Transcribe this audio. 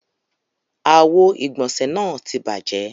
Àwo-ìgbọ̀nṣẹ̀ náà ti bàjẹ́.